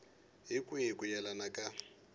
hi kwihi ku yelana ka